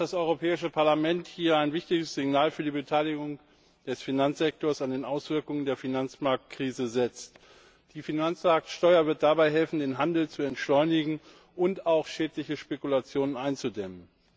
Ich glaube, dass das Europäische Parlament hier ein wichtiges Signal für die Beteiligung des Finanzsektors an den Auswirkungen der Finanzmarktkrise setzt. Die Finanzmarktsteuer wird dabei helfen, den Handel zu entschleunigen und auch schädliche Spekulationen einzudämmen.